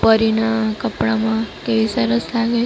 પરીના કપડામાં કેવી સરસ લાગે--